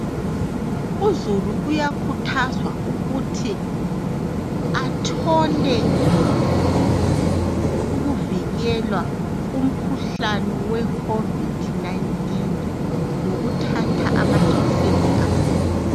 Uzulu uyakhuthazwa ukuthi athole ukuvikelwa kumkhuhlane we covid 19 ngokuthatha amajekiseni akhona .